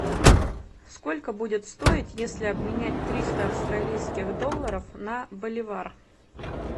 сколько будет стоить если обменять триста австралийских долларов на боливар